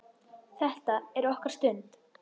Þetta er okkar stund.